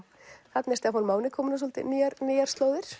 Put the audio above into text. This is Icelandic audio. þarna er Stefán Máni kominn á svolítið nýjar nýjar slóðir